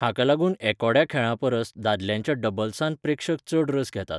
हाका लागून एकोड्या खेळांपरस दादल्यांच्या डबल्सांत प्रेक्षक चड रस घेतात.